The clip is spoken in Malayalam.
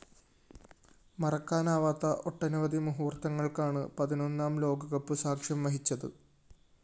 മറക്കാനാവാത്ത ഒട്ടനവധി മുഹൂര്‍ത്തങ്ങള്‍ക്കാണ് പതിനൊന്നാം ലോകകപ്പ് സാക്ഷ്യം വഹിച്ചത്